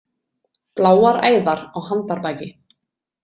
Bláar æðar á handarbaki.